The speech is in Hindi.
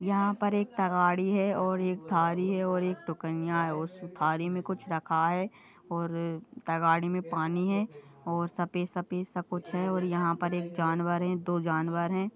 यहाँ पर एक तगाड़ी हैं और एक थाली हैं और एक टुकन्या हैं उस थाली में कुछ रखा हैं और तगाड़ी में पानी हैं और सफ़ेद सफ़ेद सा कुछ हैं और यहाँ पर एक जानवर हैं दो जानवर हैं।